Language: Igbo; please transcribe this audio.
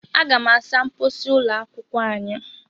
Aga m asa mposi ụlọ akwụkwọ anyị.